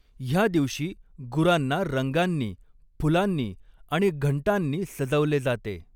ह्या दिवशी गुरांना रंगांनी, फुलांनी आणि घंटांनी सजवले जाते.